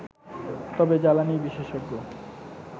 তবে জ্বালানি বিশেষজ্ঞ